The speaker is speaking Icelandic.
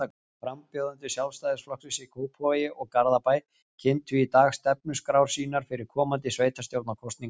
Frambjóðendur Sjálfstæðisflokksins í Kópavogi og Garðabæ kynntu í dag stefnuskrár sínar fyrir komandi sveitastjórnarkosningar.